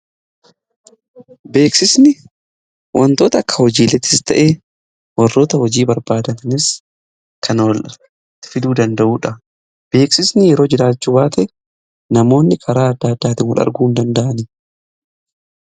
Beeksisni wantoota akka hojiileetis ta'ee warroota hojii barbaadan kan walitti fiduu danda'uudha. Beeksisni yoo jiraachu baate namoonni karaa adda addaatiin wal arguu hin danda'ani.